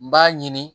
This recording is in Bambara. N b'a ɲini